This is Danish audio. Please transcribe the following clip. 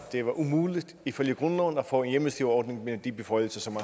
det var umuligt ifølge grundloven at få en hjemmestyreordning med de beføjelser som